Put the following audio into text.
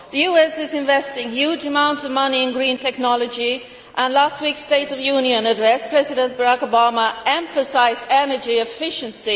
The US is investing huge amounts of money in green technology. In last week's State of the Union Address, President Barack Obama emphasised energy efficiency